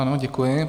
Ano, děkuji.